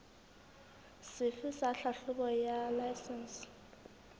sefe sa tlhahlobo ya laesense